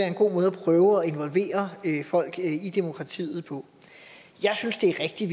en god måde at prøve at involvere folk i demokratiet på jeg synes det er rigtigt